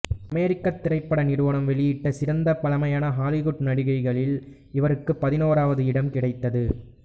அமெரிக்கத் திரைப்பட நிறுவனம் வெளியிட்ட சிறந்த பழமையான ஹாலிவுட் நடிகைகளில் இவருக்கு பதினாறாவது இடம் கிடைத்தது